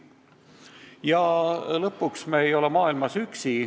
Ja lõpuks, me ei ole maailmas üksi.